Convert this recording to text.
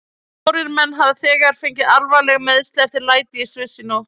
Fjórir menn hafa þegar fengið alvarleg meiðsli eftir læti í Sviss í nótt.